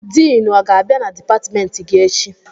Diinu ọ ga-abịa na dipatịmentị gị echi?